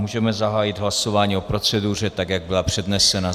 Můžeme zahájit hlasování o proceduře, tak jak byla přednesena.